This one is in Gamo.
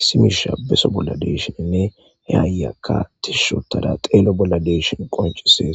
issi miishsha beso bolla dei'ashenne he ayiyakka tiishshi histada xello bolla de'ishin qonccises